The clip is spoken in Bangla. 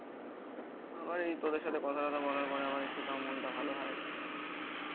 তখন. আমার এই তোদের সাথে কথা টথা বলার পরে আমার একটু তাও মনটা ভালো হয়